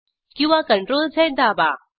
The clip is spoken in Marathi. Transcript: किंवा CTRLZ दाबा